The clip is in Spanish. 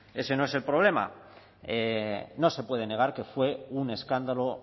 ese no es el problema no se puede negar que fue un escándalo